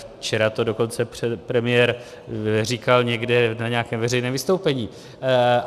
Včera to dokonce premiér říkal někde na nějakém veřejném vystoupení.